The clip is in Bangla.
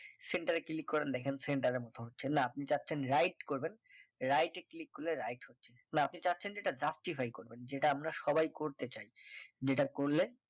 centre এ click করেন দেখেন centre এর মত হচ্ছে না আপনি চাচ্ছেন right করবেন right এ click করলে right হচ্ছে না আপনি চাচ্ছেন যে এটা justify করবেন যেটা আমরা সবাই করতে চাই যেটা করলে